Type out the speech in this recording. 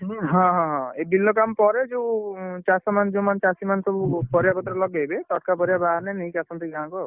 ହଁ ହଁ ହଁ, ଏଇ ବିଲ କାମ ପରେ ଯୋଉ ଚାଷ ମାନେ ଚାଷୀମାନେ ଯୋଉ ପରିବା ପତର ଲଗେଇବେ ତଟକା ପରିବା ବାହାରିଲେ ନେଇକି ଆସନ୍ତି ଗାଁକୁ ଆଉ।